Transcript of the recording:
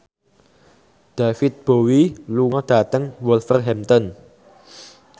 David Bowie lunga dhateng Wolverhampton